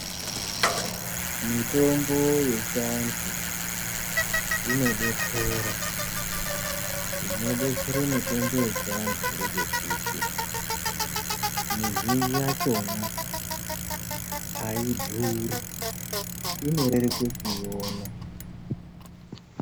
Mitombo yechiantu inodetsera , zvinodetsera mitombo yechiantu ngezvekuti mizhinji yakona ayidhuri inoreruke kuiona.